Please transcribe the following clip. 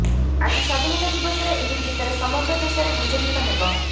ଆଜି ସ୍ୱାଧୀନତା ଦିବସରେ ଏହି ଗୀତରେ ସମଗ୍ର ଦେଶରେ ଗୁଞ୍ଜରିତ ହେବ